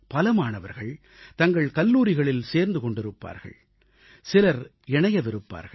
பல மாணவர்கள் தங்கள் கல்லூரிகளில் சேர்ந்து கொண்டிருப்பார்கள் சிலர் இணையவிருப்பார்கள்